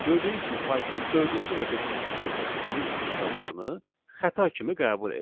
Gördüyünüz kimi Python dördüncü və beşinci sətirdəki print funksiyalarını xəta kimi qəbul etdi.